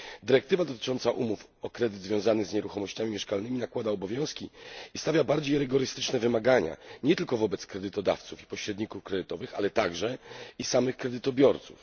Dyrektywa dotycząca umów o kredyt związany z nieruchomościami mieszkalnymi nakłada obowiązki i stawia bardziej rygorystyczne wymagania, nie tylko wobec kredytodawców i pośredników kredytowych, ale także i samych kredytobiorców.